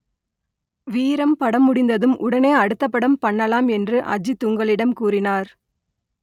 வீரம் படம் முடிந்ததும் உடனே அடுத்தப் படம் பண்ணலாம் என்று அஜித் உங்களிடம் கூறினார்